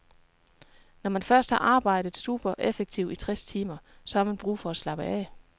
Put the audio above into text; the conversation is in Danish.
Når man først har arbejdet supereffektivt i tres timer, så har man brug for at slappe af.